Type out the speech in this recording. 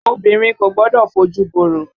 Obìnrin Kò gbọdọ̀ fojù borò.